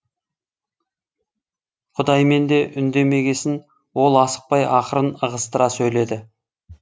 құдайменде үндемегесін ол асықпай ақырын ығыстыра сөйледі